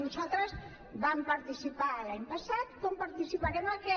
nosaltres vam participar hi l’any passat com hi participarem aquest